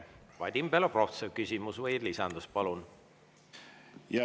Vadim Belobrovtsev, küsimus või lisandus, palun!